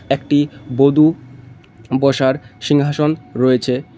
একটি বধূ বসার সিংহাসন রয়েছে।